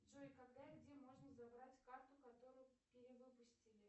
джой когда и где можно забрать карту которую перевыпустили